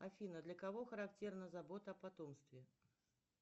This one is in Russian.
афина для кого характерна забота о потомстве